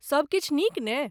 सभ किछु नीक ने?